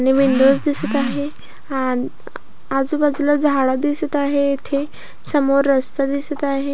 आणि विंडो दिसत आहे आन आजूबाजूला झाड दिसत आहे इथे समोर रस्ता दिसत आहे.